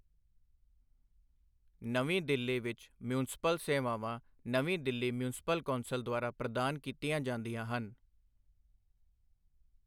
ਨਵੀਂ ਦਿੱਲੀ ਵਿੱਚ ਮਿਊਂਸਪਲ ਸੇਵਾਵਾਂ ਨਵੀਂ ਦਿੱਲੀ ਮਿਊਂਸਪਲ ਕੌਂਸਲ ਦੁਆਰਾ ਪ੍ਰਦਾਨ ਕੀਤੀਆਂ ਜਾਂਦੀਆਂ ਹਨ।